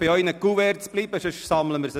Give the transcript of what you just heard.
Ich wünsche Ihnen einen schönen Abend.